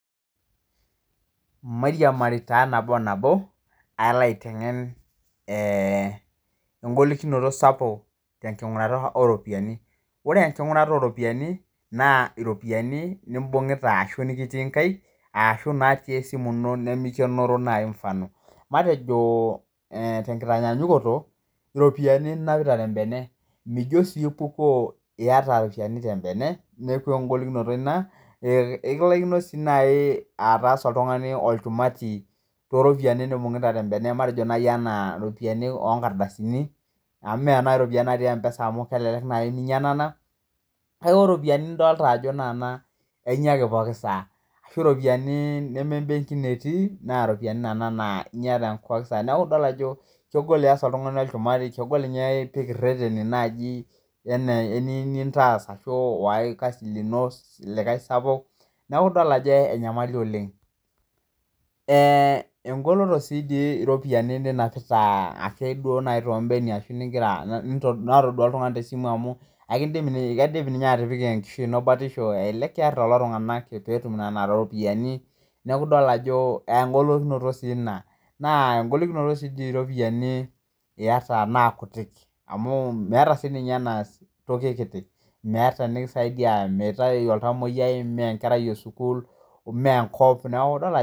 Mariamari taa nabo o nabo, aloo aitengen engolikinoto sapuk te enkingurata oo iropiyiani, ore enkingurata ooropiyiani naa iropiyiani nimbung'uta ashu nikitii inkaik, ashu natii esimu ino nemeikenoro nai te mufano. Matejo te inkinyanyukoto iropiyiani ninapita te embene, mijo sii ipukoo ieta iropiyiani te imbene, neaku engolikimonot ina, engolikinot sii nai ataasa oltungani olchunati too iropiyiani nimbung'ita te inkaina matejo nai anaa iropiyiani oo inkardasini amu mea naa iropiyini natii mpesa amu elelek naa ninya nena, naaku ore iropiyiani nidolita ajo nekuna, inya ake pooki saa, ashu iropiyiani nemee embenki etii, naa iropiyiani nena naa inya te kwonsa, naaku idol ajo kegol iyas oltungani inchumari, kegol ninye ipik reteni naaji enintaas ashu oaai lkasi lino likae sapuk, naaku idol ajo enyamali oleng. Engoloto sii dii iropiyiani ninapita ake duo too imbenia ashu nigira, natodua iltungani te simu amuu ekindim ninye atipika nkishui ino batisho ekiarr lelo tungana petum nena iropiyiani naaku idol ajo engolikinoto sii ina, naa engolikinoto sii ninye iropiyiani iyeta naa kutiik amu meata sii ninye neas ntoki kiti, meata nikisaidia, meitai oltamoiyai, neya enkerai esukuul, neya enkop naaku idol ajo.